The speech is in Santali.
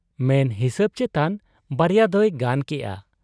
ᱢᱮᱱ ᱦᱤᱥᱟᱹᱵᱽ ᱪᱮᱛᱟᱱ ᱱᱟᱨᱭᱟ ᱫᱚᱭ ᱜᱟᱱ ᱠᱮᱜ ᱟ ᱾